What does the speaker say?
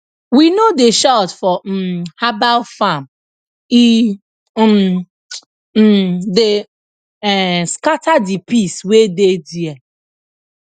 we no dey shout for um herbal farm e um um dey um scatter the peace wey dey there